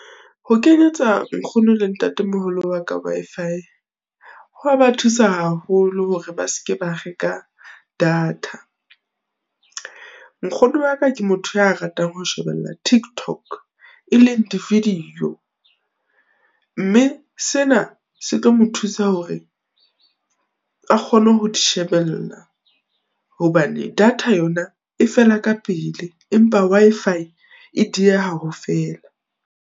Ho kenyetsa nkgono le ntatemoholo wa ka Wi-Fi, ho a ba thusa haholo hore ba seke ba reka data. Nkgono waka ke motho ya ratang ho shebella TikTok, e leng di-video, mme sena se tlo mo thusa hore a kgone ho di shebella, hobane data yona e fela ka pele, empa Wi-Fi e dieha ho fela.